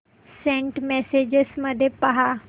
Saint messages मध्ये पहा